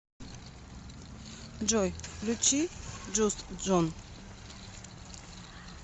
джой включи джуст джон